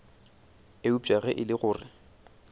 eupša ge e le gore